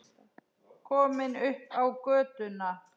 Komin upp á götuna.